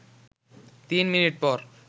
তিন মিনিট পর